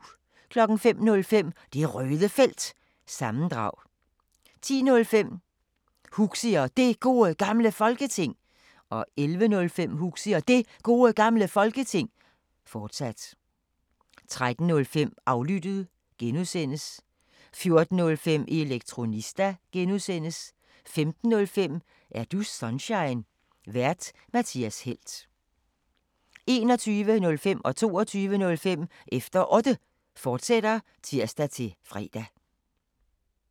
05:05: Det Røde Felt – sammendrag 10:05: Huxi og Det Gode Gamle Folketing 11:05: Huxi og Det Gode Gamle Folketing, fortsat 13:05: Aflyttet (G) 14:05: Elektronista (G) 15:05: Er du Sunshine? Vært:Mathias Helt 21:05: Efter Otte, fortsat (tir-fre) 22:05: Efter Otte, fortsat (tir-fre)